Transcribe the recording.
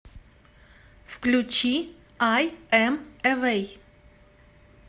включи айэм эвэй